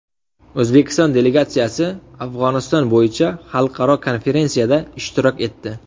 O‘zbekiston delegatsiyasi Afg‘oniston bo‘yicha xalqaro konferensiyada ishtirok etdi.